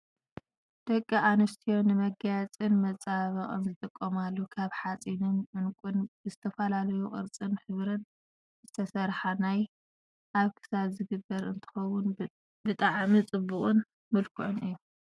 ደቂ ኣንስትዮ ንመጋየፅን መፀባበቅን ዝጥቀማሉ ካብ ሓፂንን ዑንቂን ብዝተፈላለዩ ቅርፅን ሕብርን ዝተሰረሓ ናይ ኣብ ክሳድ ዝግበር እንትከውን፣ ብጣዕሚ ፅቡቅን ምልኩዑን እዩ።